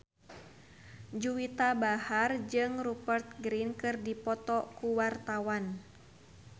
Juwita Bahar jeung Rupert Grin keur dipoto ku wartawan